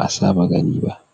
an sa ma ta taki.